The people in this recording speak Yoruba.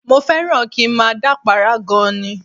Mo fẹ́ràn kí n máa dápàárá gan-an ni